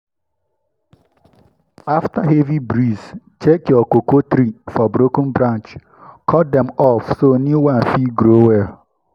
after heavy breeze check your cocoa tree for broken branch cut dem off so new one fit grow well.